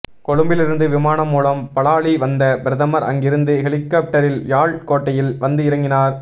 கொழும்பிலிருந்து விமானம் மூலம் பலாலி வந்த பிரதமர் அங்கிருந்து ஹெலிகொப்டரில் யாழ் கோட்டையில் வந்து இறங்கினார்